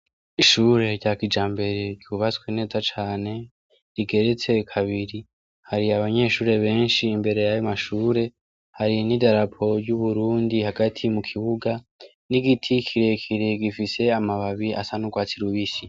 Ishuri ryakijambere ryubatswe neza cane rigeretse kabiri hari abanyeshuri beshi imbere yayo mashuri hari n'idarapo ry'Uburundi hagati mu kibuga n'igiti kirekire gifise amababi asa n'urwatsi rubisi